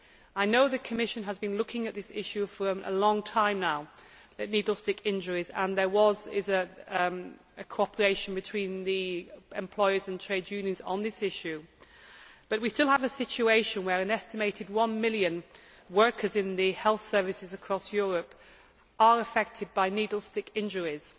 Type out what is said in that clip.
I know the Commission has been looking at this issue for a long time now, and there is a cooperation between employers and trade unions on this issue, but we still have a situation where an estimated one million workers in the health services across Europe are affected by needle stick injuries.